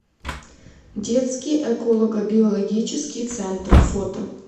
детский эколого биологический центр фото